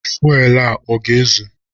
Fuelu a ọ ga-ezu?